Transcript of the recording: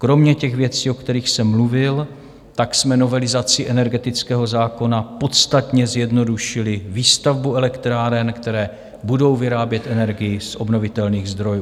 Kromě těch věcí, o kterých jsem mluvil, tak jsme novelizací energetického zákona podstatně zjednodušili výstavbu elektráren, které budou vyrábět energii z obnovitelných zdrojů.